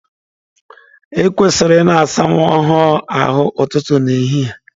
E kwesịrị ị na-asa nwa ọhụrụ ahụ ụtụtụ na ehihie.